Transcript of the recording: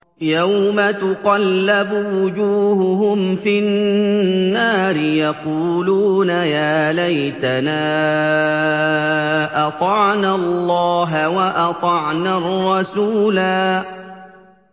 يَوْمَ تُقَلَّبُ وُجُوهُهُمْ فِي النَّارِ يَقُولُونَ يَا لَيْتَنَا أَطَعْنَا اللَّهَ وَأَطَعْنَا الرَّسُولَا